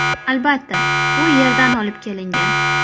Albatta, u Yerdan olib kelingan.